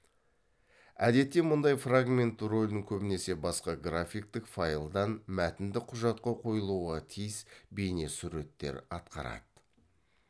әдетте мұндай фрагмент ролін көбінесе басқа графиктік файлдан мәтіндік құжатқа қойылуға тиіс бейне суреттер атқарады